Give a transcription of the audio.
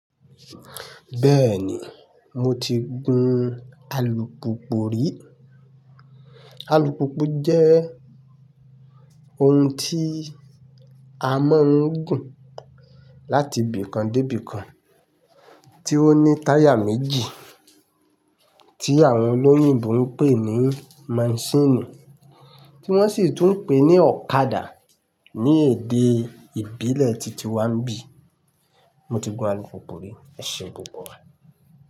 Bẹ́ẹ̀ni, mo ti gun alùpùpù rí. Alùpùpù jẹ́ ohun tí a máa ń gùn láti ibì kan dé ibì kan, tí ó ní táyà méjì tí àwọn olóyìnbo ń pè ní masíìnì, tí wọ́n sì tún ń pè ní ọ̀kadà ní èdè ìbílẹ̀ titi wa ń bí. Mo ti gun alùpùpù rí, ẹṣe púpọ̀.